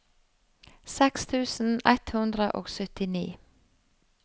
seks tusen ett hundre og syttini